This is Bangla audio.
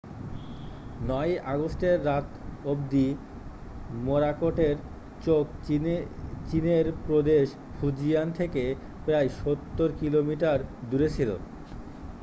9 ই আগস্টের রাত অবধি মোরাকোটের চোখ চীনের প্রদেশ ফুজিয়ান থেকে প্রায় সত্তর কিলোমিটার দূরে ছিল